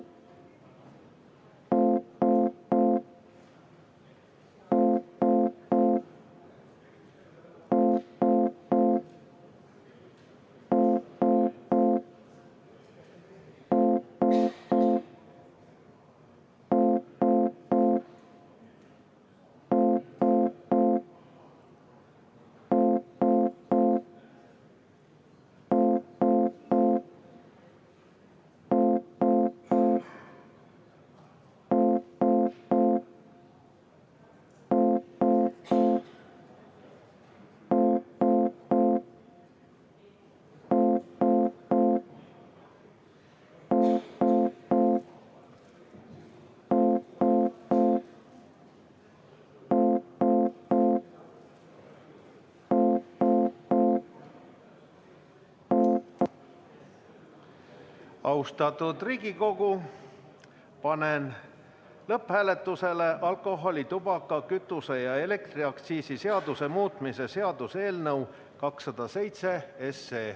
Austatud Riigikogu, panen lõpphääletusele alkoholi-, tubaka-, kütuse- ja elektriaktsiisi seaduse muutmise seaduse eelnõu 207.